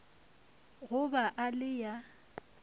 go ba e le ya